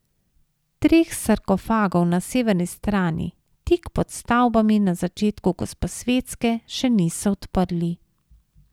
Treh sarkofagov na severni strani, tik pod stavbami na začetku Gosposvetske, še niso odprli.